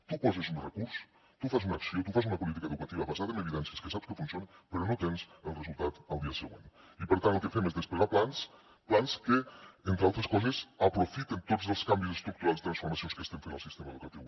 tu poses un recurs tu fas una acció tu fas una política educativa basada en evidències que saps que funciona però no tens els resultats al dia següent i per tant el que fem és desplegar plans plans que entre altres coses aprofiten tots els canvis estructurals i transformacions que estem fent al sistema educatiu